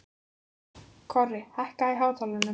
Korri, hækkaðu í hátalaranum.